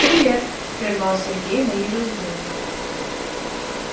привет прервал сергей мои раздумья